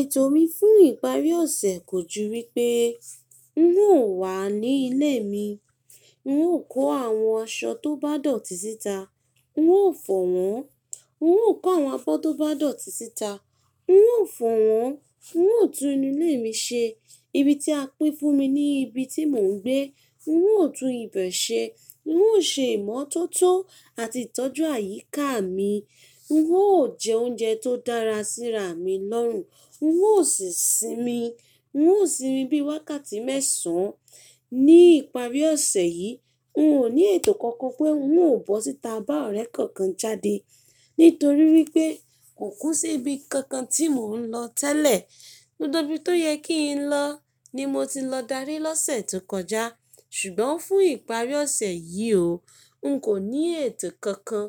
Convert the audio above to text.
Ètò mi fún ìparí ọ̀sẹ̀ kò ju wípé n ó wà ní ilé mi, n ó kọ àwọn aṣọ tó bá dọ̀tí síta, n ó fọ̀ wọ́n, n ó kọ àwọn abọ́ tó bá dọ̀tí síta, n ó fọ̀ wọ́n, n ó tún inú ilé mi ṣe, ibi tí a pín fún mi ni ibi tí mò ń gbé, n ó tún ibẹ̀ ṣe, n ó ṣe ìmọ́tótó àti ìtọ́jú àyíká mi, n ó jẹ oúnjẹ tó dára síra mi lọ́rùn, n ó sì sinmi, n ó sinmi bí i wákàtí mẹ́sàn án. Ní ìparí ọ̀sẹ̀ yìí, n kò ní ètò kankan pé n ó bọ́ síta bá ọ̀rẹ́ kankan jáde, nítorí wípé kò kú sí ibi kankan tí mò ń lọ tẹ́lẹ̀. Gbogbo bí tó yẹ kí n lọ ni mo ti lọ dárí lọ́sẹ̀ tó kọjá, ṣùgbọ́n fún ìparí ọ̀sẹ̀ yìí o, n kò ní ètò kankan